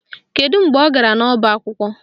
Kedu mgbe ọ gara n'ọba akwụkwọ?